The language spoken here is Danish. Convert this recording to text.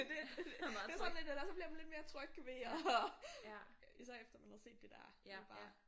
Det det er sådan en eller også så bliver man lidt mere tryg du ved og især efter man havde set der der det bare